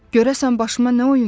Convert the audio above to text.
Görəsən başıma nə oyun gəlib?